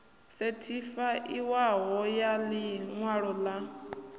sethifaiwaho ya ḽi ṅwalo ḽa